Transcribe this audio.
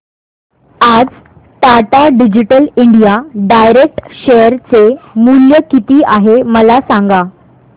आज Tata digital India direct share चे मूल्य किती आहे मला सांगा